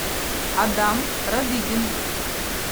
адам родыгин